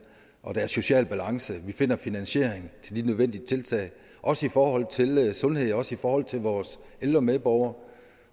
og at der er social balance vi finder finansieringen til de nødvendige tiltag også i forhold til sundhed og også i forhold til vores ældre medborgere